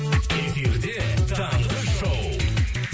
эфирде таңғы шоу